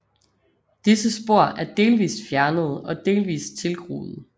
Disse spor er delvist fjernede og delvist tilgroede